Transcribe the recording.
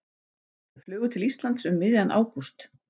Þau flugu til Íslands um miðjan ágúst.